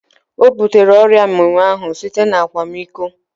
Ọ butere ọrịa mminwụ ahu site na akwamiko